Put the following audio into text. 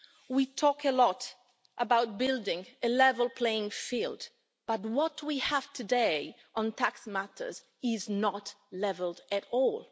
We talk a lot about building a level playing field, but what we have today on tax matters is not level at all.